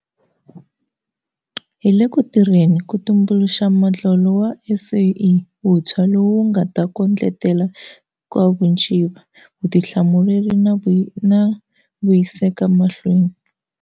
Hi le ku tirheleni ku tumbu luxa modlolo wa SOE wuntshwa lowu wu nga ta kondletela nkavuciva, vutihlamuleri na vuyiseka mahlweni.